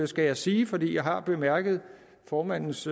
skal jeg sige for jeg har bemærket formandens